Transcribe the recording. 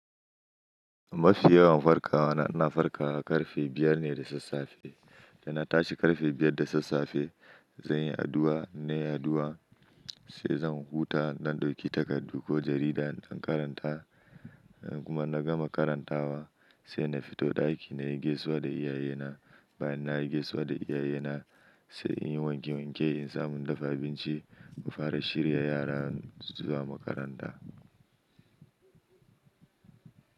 Mafi yawan farkawa na farkawa karfe biyar ne da sassafe. Da na tashi karfe biyar da sassafe, zan yi addu'a, in nayi addu'a sai zan huta, in dan ɗauki takardu ko jarida na karanta kuma in na gama karantawa sai na fito ɗaki nayi gaisuwa da iyayena. Bayan nayi gaisuwa da iyayena sai in yi wanke wanke in samu in dafa abinci mu fara shirya yara zuwa makaranta.